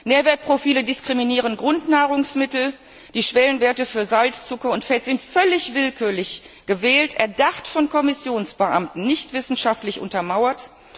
Nährwertprofile diskriminieren Grundnahrungsmittel, die Schwellenwerte für Salz, Zucker und Fett sind völlig willkürlich gewählt, erdacht von Kommissionsbeamten, nicht wissenschaftlich untermauert.